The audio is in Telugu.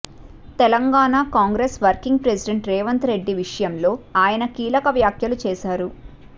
తెలంగాణ కాంగ్రెస్ వర్కింగ్ ప్రెసిడెంట్ రేవంత్ రెడ్డి విషయంలో ఆయన కీలక వ్యాఖ్యలు చేశారు